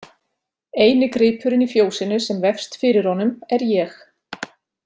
Eini gripurinn í fjósinu sem vefst fyrir honum er ég.